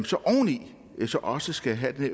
så oveni også skal have